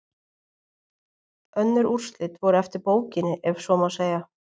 Önnur úrslit voru eftir bókinni ef svo má segja.